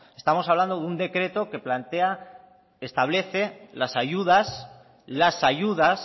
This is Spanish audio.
estamos hablando de un decreto que plantea establece las ayudas las ayudas